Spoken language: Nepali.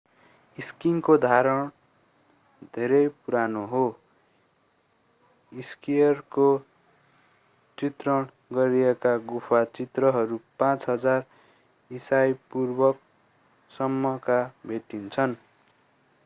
स्कीइङको धारण धेरै पुरानो हो स्कीयरको चित्रण गरिएका गुफा चित्रहरू 5000 ईसापूर्वसम्मका भेटिन्छन्